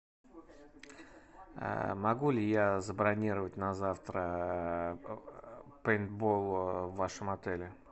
могу ли я забронировать на завтра пейнтбол в вашем отеле